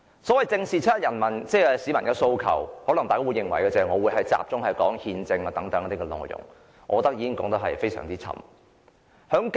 就"正視七一遊行市民的訴求"，大家可能會認為，我會集中談論憲政等內容，但我認為已經說得太多。